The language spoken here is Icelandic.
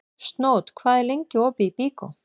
Snót, hvað er lengi opið í Byko?